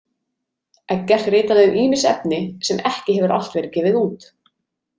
Eggert ritaði um ýmis efni, sem ekki hefur allt verið gefið út.